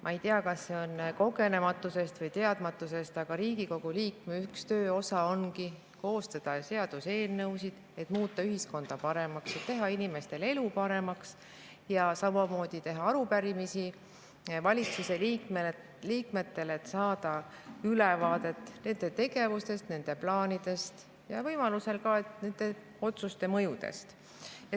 Ma ei tea, kas see on kogenematusest või teadmatusest, aga Riigikogu liikme töö üks osa ongi koostada seaduseelnõusid, et muuta ühiskonda paremaks, teha inimestel elu paremaks ja samamoodi teha arupärimisi valitsuse liikmetele, et saada ülevaadet nende tegevustest, nende plaanidest ja võimalusel ka nende otsuste mõjudest.